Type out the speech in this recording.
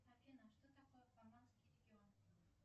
афина что такое фламандский регион